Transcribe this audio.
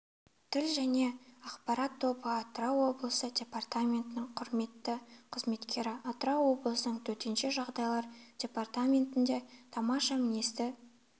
тіл және ақпарат тобы атырау облысы департаментінің құрметті қызметкері атырау облысының төтенше жағдайлар департаментінде тамаша мінезді